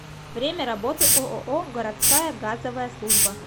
время работы ооо городская газовая служба